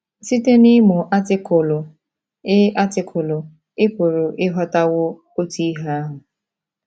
Site n’ịmụ Artịkụlụ, ị Artịkụlụ, ị pụrụ ịghọtawo otu ihe ahụ.